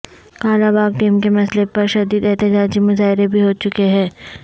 کالا باغ ڈیم کے مسئلہ پر شدید احتجاجی مظاہرے بھی ہوچکے ہیں